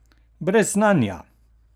Brez znanja!